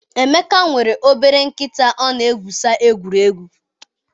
Emeka nwere obere nkịta ọ na-egwusa egwuregwu.